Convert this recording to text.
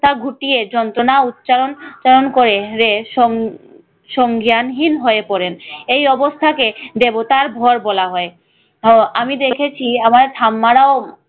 মাথা ঘুটিয়ে যন্ত্রণা উচ্চারণ উচ্চারণ করে রে সং~ সংজ্ঞানহীন হয়ে পড়েন। এই অবস্থাকে দেবতার ঘর বলা হয়। হ আমি দেখেছি আমার ঠাম্মারাও